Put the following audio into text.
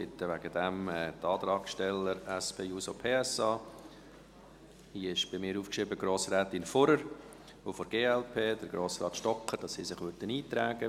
Ich bitte deshalb die Antragssteller seitens der SP-JUSO-PSA – bei mir ist Grossrätin Fuhrer aufgeschrieben – und seitens der glp, Grossrat Stocker, sich einzutragen.